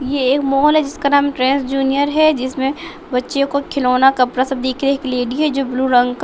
यह एक मोल है जिसका नाम ट्रेंस जूनियर है जिसमें बच्चों को खिलौना कपड़ा सब दिख रहे एक लेडी है जो ब्लू रंग का --